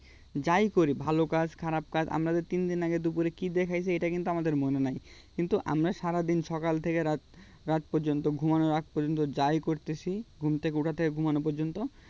যাই করি ভাল কাজ খারাপ কাজ আমরা যে তিনদিন আগে দুপুরে কি দিয়া খেয়েছি এটা কিন্তু আমাদের মনে নেই কিন্তু আমরা সারাদিন সকাল থেকে রাত রাত পর্যন্ত ঘুমোনোর আগে পর্যন্ত যাই করছি ঘুম থেকে ওঠা থেকে ঘুমানো পর্যন্ত